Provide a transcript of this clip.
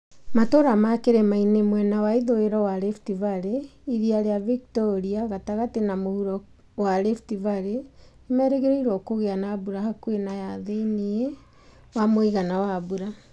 Matũũra ma kĩrĩmainĩ mwena wa ithũĩro wa Rift Valley, irĩa rĩa Victoria, Gatagatĩ na mũhuro kĩa Rift Valley nĩ merĩgĩrĩirũo kũgĩa na mbura hakuhĩ na ya thĩiniĩ wa mũigana wa mbura.